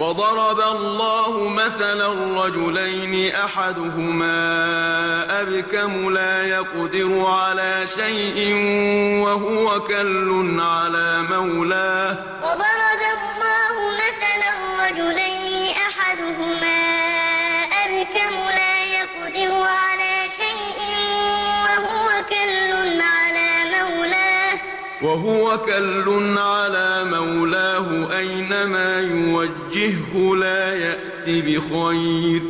وَضَرَبَ اللَّهُ مَثَلًا رَّجُلَيْنِ أَحَدُهُمَا أَبْكَمُ لَا يَقْدِرُ عَلَىٰ شَيْءٍ وَهُوَ كَلٌّ عَلَىٰ مَوْلَاهُ أَيْنَمَا يُوَجِّههُّ لَا يَأْتِ بِخَيْرٍ